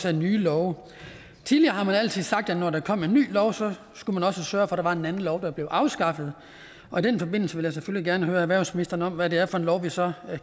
er nye love tidligere har man altid sagt at når der kom en ny lov så skulle man også sørge for at der var en anden lov der blev afskaffet og i den forbindelse vil jeg selvfølgelig gerne høre erhvervsministeren om hvad det er for en lov vi så